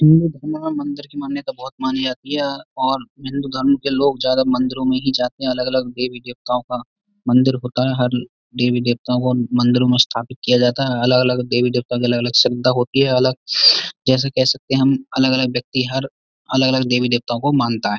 हिन्दू धर्म में मंदिर की मान्यता बहुत मानी जाती है और हिन्दू धर्म के लोग ज्यादा मंदिरों में ही जाते हैं। अलग-अलग देवी देवताओं का मंदिर होता है। हर देवी-देवताओं को मंदिरों में स्थापित किया जाता है। अलग-अलग देवी देवताओं का अलग-अलग श्रद्धा होती है। अलग जैसे कह सकते हैं हम अलग-अलग व्यक्ति हर अलग-अलग देवी देवताओं को मानता है।